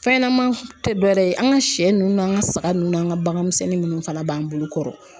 Fɛnɲanama tɛ dɔ wɛrɛ ye an ka sɛ nunnu n'an ka saga ninnu n'an ka baganmisɛnnin minnu fana b'an bolo kɔrɔ.